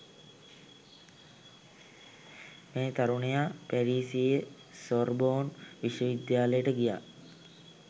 මේ තරුණයා පැරිසියේ සොර්බෝන් විශ්වවිද්‍යාලයට ගියා.